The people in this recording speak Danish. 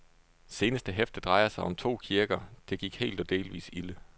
Seneste hæfte drejer sig om to kirker, det gik helt og delvis ilde.